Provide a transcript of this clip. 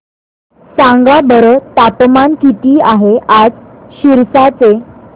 सांगा बरं तापमान किती आहे आज सिरसा चे